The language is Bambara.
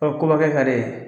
kobakɛ ka d'e ye.